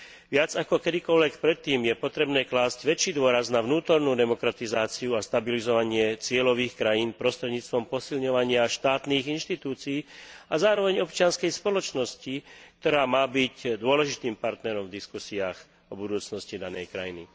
Viac ako kedykoľvek predtým je potrebné klásť väčší dôraz na vnútornú demokratizáciu a stabilizovanie cieľových krajín prostredníctvom posilňovania štátnych inštitúcií a zároveň občianskej spoločnosti, ktorá má byť dôležitým partnerom v diskusiách o budúcnosti danej krajiny.